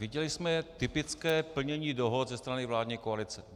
Viděli jsme typické plnění dohod ze strany vládní koalice.